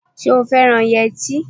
Ṣé o fẹ́ràn yẹtí?